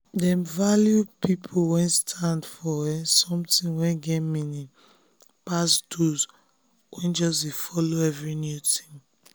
dem value people wey stand for um something wey get meaning um pass those wey just dey follow every new thing. um